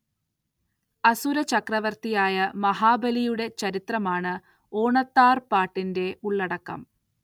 അസുര ചക്രവർത്തിയായ മഹാബലിയുടെ ചരിത്രമാണ്‌ ഓണത്താർ പാട്ടിന്റെ ഉള്ളടക്കം.